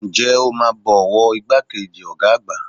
Ǹjẹ́ o máa bọ ọwọ́ ìgbà kejì ọ̀gá àgbà?